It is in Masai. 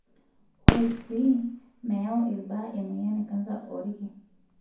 Ore sii, meyau irbaa emoyian e kansa oolki.